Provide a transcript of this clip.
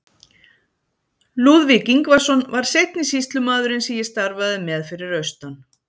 Lúðvík Ingvarsson var seinni sýslumaðurinn sem ég starfaði með fyrir austan.